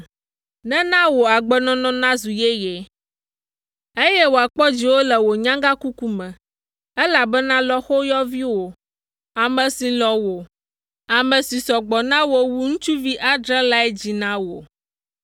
nena wò agbenɔnɔ nazu yeye, eye wòakpɔ dziwò le wò nyagãkuku me, elabena lɔ̃xoyɔviwò, ame si lɔ̃ wò, ame si sɔ gbɔ na wò wu ŋutsuvi adre lae dzii na wò.”